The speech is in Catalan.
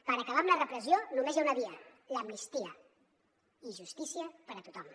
per acabar amb la repressió només hi ha una via l’amnistia i justícia per a tothom